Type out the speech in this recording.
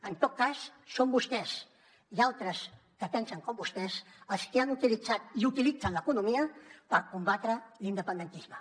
en tot cas són vostès i altres que pensen com vostès els que han utilitzat i utilitzen l’economia per combatre l’independentisme